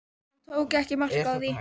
Hún tók ekki mark á því.